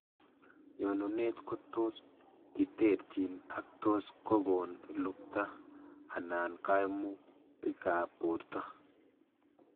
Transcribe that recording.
Nyonunet kotos kiterchin ak tos kokoon luukta anan kaimutikap borto.